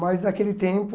Mas naquele tempo